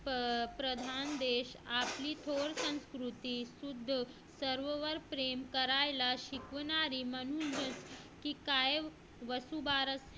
प्रधान देश आपली थोर संस्कृती सर्वांवर प्रेम करायला शिकवणारे म्हणूनच की काय वसुबारस हा